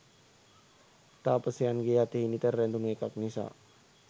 තාපසයන්ගේ් අතෙහි නිතර රැඳුන එකක් නිසා